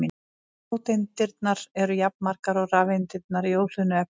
Róteindirnar eru jafnmargar og rafeindirnar í óhlöðnu efni.